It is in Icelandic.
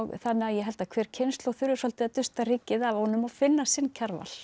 þannig að ég held að hver kynslóð þurfi svolítið að dusta rykið af honum og finna sinn Kjarval